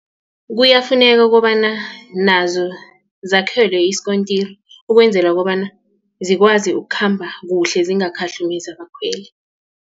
Kuyafuneka ukobana nazo zakhelwe isikontiri ukwenzela kobana zikwazi ukukhamba kuhle zingakhahlumezi abakhweli.